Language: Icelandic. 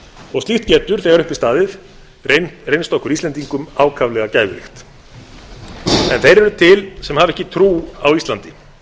og slíkt getur þegar upp er staðið reynst okkur íslendingum ákaflega gæfuríkt en þeir eru til sem hafa ekki trú á íslandi